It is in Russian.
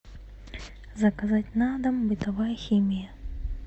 заказать на дом бытовая химия